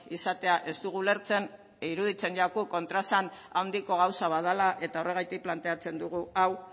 izatea ez dugu ulertzen iruditzen zaigu kontraesan handiko gauza bat dela eta horregatik planteatzen dugu hau